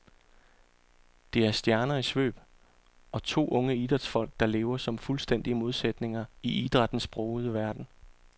Det er stjerner i svøb, og to unge idrætsfolk, der lever som fuldstændige modsætninger i idrættens brogede verden.